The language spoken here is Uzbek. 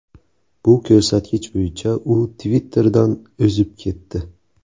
Bu ko‘rsatkich bo‘yicha u Twitter’dan o‘zib ketdi.